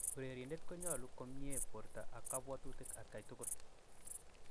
Urerindet konyolu komii komyee porto ak kapwotutik atkai tugul